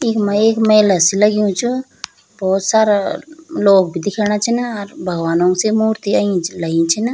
इख्मा एक मैला सी लग्युं च भौत सारा लोग भी दिख्येणा छिन अर भगवनों सी मूर्ति अई लायीं छिन।